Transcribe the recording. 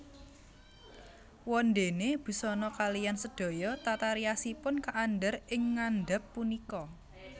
Wondéné busana kaliyan sedaya tata riasipun kaandhar ing ngandhap punika